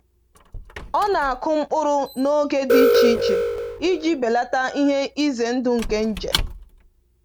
Ọ na-akụ mkpụrụ n’oge dị iche iche iji belata ihe ize ndụ nke nje.